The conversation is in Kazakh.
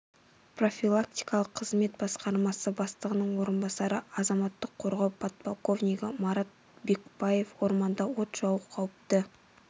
профилактикалық қызмет басқармасы бастығының орынбасары азаматтық қорғау подполковнигі марат бекпаев орманда от жағу қауіпті